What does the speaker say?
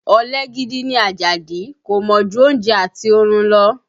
Ọ̀lẹ gidi ni Àjàdí, kò mọ̀ ju oúnjẹ àti orun lọ